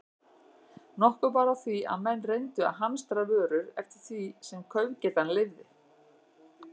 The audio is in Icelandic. Nokkuð bar á því, að menn reyndu að hamstra vörur eftir því sem kaupgetan leyfði.